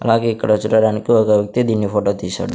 అలాగే ఇక్కడ చూడడానికి ఒక వ్యక్తి దీన్ని ఫోటో తీశాడు.